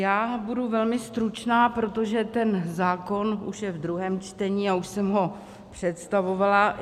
Já budu velmi stručná, protože ten zákon už je ve druhém čtení a už jsem ho představovala.